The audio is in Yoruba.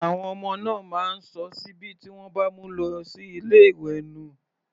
Àwọn ọmọ náà máa ń sọ síbí tí wọ́n bá mu lọ sí ilé ìwé nù.